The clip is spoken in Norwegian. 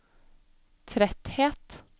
tretthet